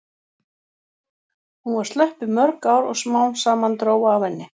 Hún var slöpp í mörg ár og smám saman dró af henni.